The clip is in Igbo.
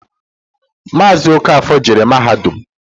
Maazi Okafor jere mahadum.